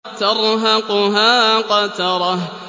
تَرْهَقُهَا قَتَرَةٌ